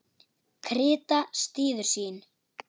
Krita styður síur.